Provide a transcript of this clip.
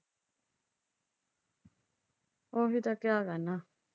ਉਹ ਤਾਂ ਕਿਆ ਕਰਨਾ।